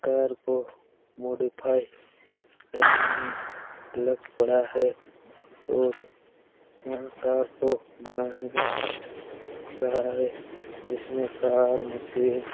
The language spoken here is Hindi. कार को मॉडिफाई करने में लग पड़ा है और कार को बनाए रहा हैं जिसमें कार मशीन